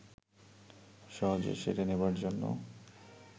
সহজে সেরে নেবার জন্যে